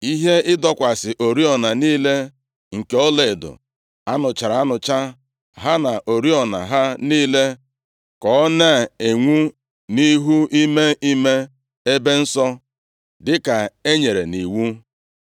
ihe ịdọkwasị oriọna niile nke ọlaedo a nụchara anụcha, ha na oriọna ha niile, ka ọ na-enwu nʼihu ime ime ebe nsọ, dịka e nyere nʼiwu,